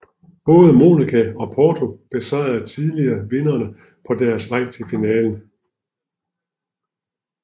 Både Monaco og Porto besejrede tidligere vindere på deres vej til finalen